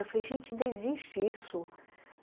Eu falei, gente, ainda existe isso.